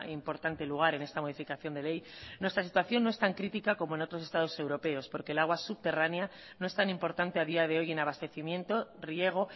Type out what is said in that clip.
importante lugar en esta modificación de ley nuestra situación no es tan crítica como en otros estados europeos porque el agua subterránea no es tan importante a día de hoy en abastecimiento riego